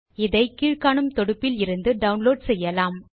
இதை கீழ் காணும் தொடுப்பில் இருந்து டவுன்லோட் செய்யலாம்